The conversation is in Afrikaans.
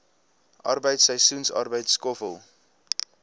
arbeid seisoensarbeid skoffel